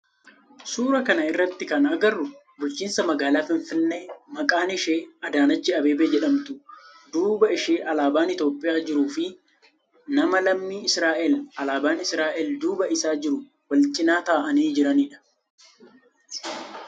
Suuraa kana irratti kan agarru bulchiinsa magaalaa finfinnee maqaan ishee Adaanech Abeebee jedhamtu duuba ishee alaabaan Itiyoophiyaa jiruu fi nama lammii Israa'eel alaabaan Israa'eel duuba isaa jiru wal cinaa ta'aanii jiranidha.